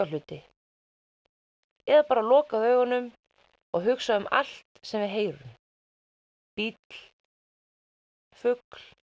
hluti eða bara loka augunum og hugsa um allt sem við heyrum bíll fugl